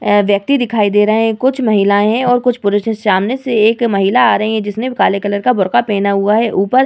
अ व्यक्ति दिखाई दे रहे है कुछ महिलाएं है और कुछ पुरुष है सामने से एक महिला आ रही है जिसने काले कलर का बुरखा पेहना ऊपर --